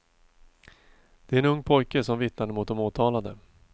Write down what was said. Det är en ung pojke som vittnade mot de åtalade.